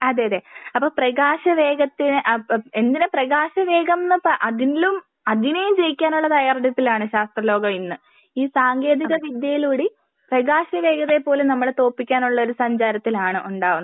അതെ അതെ അപ്പൊ പ്രകാശ വേഗത്തിൽ എങ്ങനെ പ്രകാശ വേഗം ന്ന് പറ അതിലും അതിനെയും വിജയിക്കാനുള്ള തയാറെടുപ്പിലാണ് ശാസ്ത്ര ലോകം ഇന്ന്. ഈ സാങ്കേന്തിക വിദ്യയിലൂടെ പ്രകാശ വേഗതയെ പോലെ നമ്മള് തോൽപ്പിക്കാനുള്ള സഞ്ചാരത്തിലാണ് ഉണ്ടാവുന്നത്.